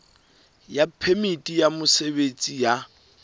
ya phemiti ya mosebetsi ya